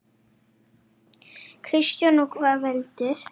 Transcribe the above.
Kristján: Og hvað veldur?